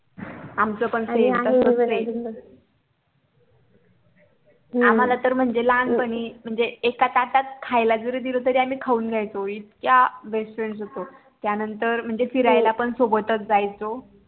आमच पण SAME तसच आहे SAME आम्हाला तर लहानपणी म्हणजे एका ताटात खायला जरी दिल तरी आम्ही खाऊन घ्यायचो इतकं BEST FRIENDS होतो त्यानंतर म्हणजे फिरायला पण सोबतच जायचो